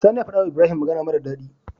Sani ya faɗa wa ibrahim magAna mara dadi